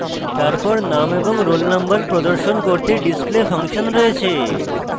তারপর name এবং roll number প্রদর্শন করতে display ফাংশন রয়েছে